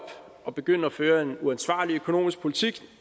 og begynde at føre en uansvarlig økonomisk politik